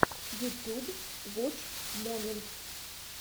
ютюб воч моментс